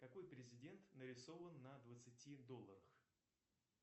какой президент нарисован на двадцати долларах